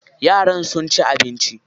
Yaran sun ci abinci.